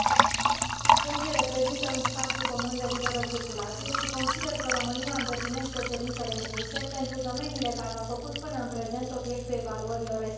Schengen reprezintă un spațiu comun de liberă circulație și consider că România îndeplinește cerințele impuse pentru domeniile care au făcut până în prezent obiectul evaluărilor respective.